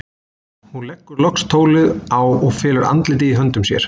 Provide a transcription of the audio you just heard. Hún leggur loks tólið á og felur andlitið í höndum sér.